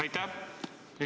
Aitäh!